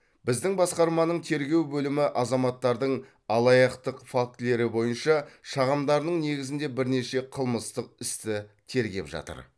біздің басқарманың тергеу бөлімі азаматтардың алаяқтық фактілері бойынша шағымдарының негізінде бірнеше қылмыстық істі тергеп жатыр